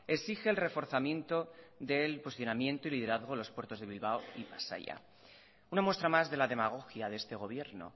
exige el reforzamiento del posicionamiento y liderazgo de los puertos de bilbao y pasaia una muestra más de la demagogia de este gobierno